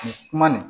Nin kuma nin